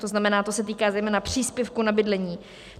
To znamená, to se týká zejména příspěvku na bydlení.